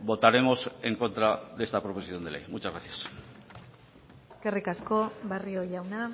votaremos en contra de esta proposición de ley muchas gracias eskerrik asko barrio jauna